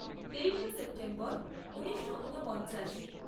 তেইশে সেপ্টেম্বর ঊনিশো ঊনপঞ্চাশ